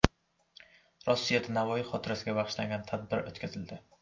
Rossiyada Navoiy xotirasiga bag‘ishlangan tadbir o‘tkazildi.